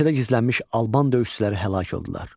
Meşədə gizlənmiş alban döyüşçüləri həlak oldular.